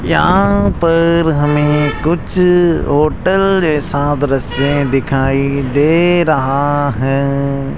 यहां पर हमें कुछ होटल जैसा दृश्य दिखाई दे रहा है।